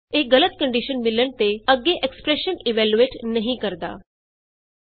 ਇਹ ਗਲਤ ਕੰਡੀਸ਼ਨ ਮਿਲਣ ਤੇ ਅੱਗੇ ਐਕਸਪਰੈਸ਼ਨ ਇਵੈਲਯੂਏਟ ਐਕਸਪ੍ਰੈਸ਼ਨ ਇਵੈਲੂਏਟ ਨਹੀਂ ਕਰਦਾ